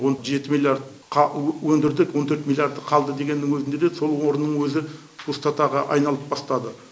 он жеті миллиардқа өндірдік он төрт миллиарды қалды дегеннің өзінде де сол орынның өзі пустотаға айналып бастады